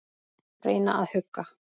Reyna að hugga.